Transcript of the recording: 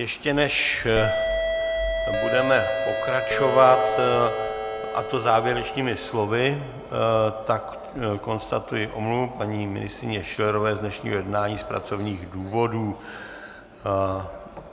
Ještě než budeme pokračovat, a to závěrečnými slovy, tak konstatuji omluvu paní ministryně Schillerové z dnešního jednání z pracovních důvodů.